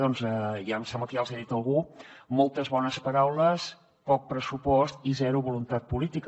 ja em sembla que els hi ha dit algú moltes bones paraules poc pressupost i zero voluntat política